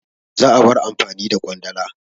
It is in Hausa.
Za'a bar amfani da Ƙwandala.